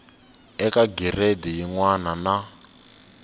eka giredi yin wana na